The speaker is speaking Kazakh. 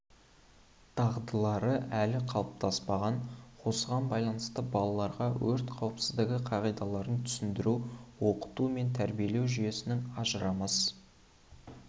дағдылары әлі қалыптаспаған осыған байланысты балаларға өрт қауіпсіздігі қағидаларын түсіндіру оқыту мен тәрбиелеу жүйесінің ажырамас